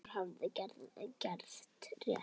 Grímur hafði gert rétt.